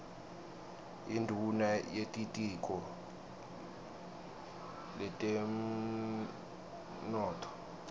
induuna yetitiko letemnotfo